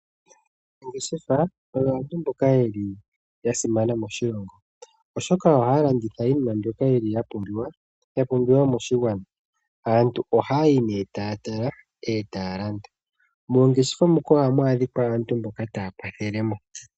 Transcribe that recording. Aanangeshefa oyo aantu mboka yeli yasimana moshilongo oshoka ohaa landitha iinima mbyoka yili ya pumbiwa moshigwana. Aantu oha ya yi nee taa tala etaya landa, moongeshefa moka ohamu adhikwa aantu mboka taya kwathele mo.